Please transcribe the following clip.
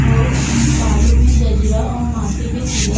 और बालों में गजरा और माथे पे तिलक --